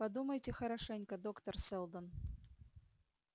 подумайте хорошенько доктор сэлдон